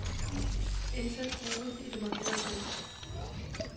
Indsæt gruppe i det markerede felt.